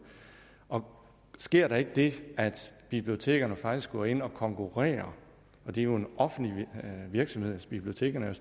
og sker der ikke det at bibliotekerne faktisk går ind og konkurrerer og det er jo en offentlig virksomhed bibliotekerne er